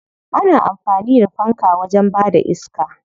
Ana amfani da fanka wajen bada iska.